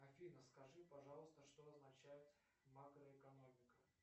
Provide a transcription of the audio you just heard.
афина скажи пожалуйста что означает макроэкономика